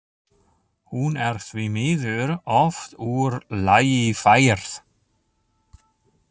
Hún er því miður oft úr lagi færð.